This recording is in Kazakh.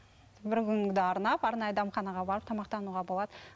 бір күніңді арнап арнайы дәмханаға барып тамақтануға болады